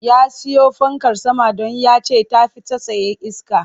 Ya siyo fankar sama don ya ce ta fi ta tsaye iske